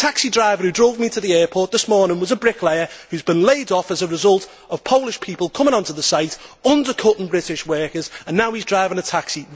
The taxi driver who drove me to the airport this morning was a bricklayer who has been laid off as a result of Polish people coming onto the site, undercutting British workers, and now he is driving a taxi.